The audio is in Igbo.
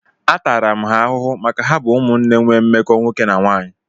Atara ha ahụhụ maka ha bụ ụmụnne nwee mmekọ nwoke na nwaanyị.